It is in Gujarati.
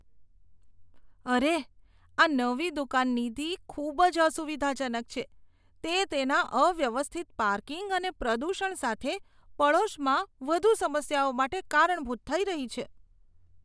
અરે! આ નવી દુકાન નીતિ ખૂબ જ અસુવિધાજનક છે. તે તેના અવ્યવસ્થિત પાર્કિંગ અને પ્રદૂષણ સાથે પડોશમાં વધુ સમસ્યાઓ માટે કારણભૂત થઈ રહી છે.